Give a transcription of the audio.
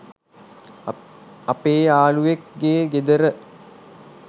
අපේ යාලුවෙක් ගේ ගෙදර.